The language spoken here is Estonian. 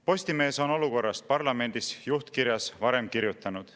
Postimees on olukorrast parlamendis juhtkirjas varem kirjutanud.